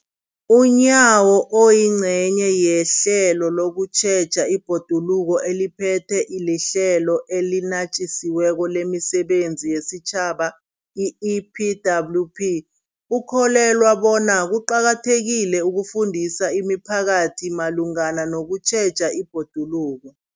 UNyawo, oyingcenye yehlelo lokutjheja ibhoduluko eliphethwe liHlelo eliNatjisi weko lemiSebenzi yesiTjhaba, i-EPWP, ukholelwa bona kuqakathekile ukufundisa imiphakathi malungana nokutjheja ibhoduluko.